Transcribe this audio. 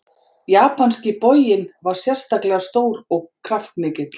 Japanski boginn var sérstaklega stór og kraftmikill.